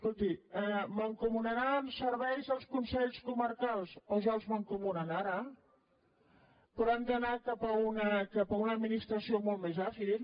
escolti mancomunaran serveis els consells comarcals oh ja els mancomunen ara però han d’anar cap a una administració molt més àgil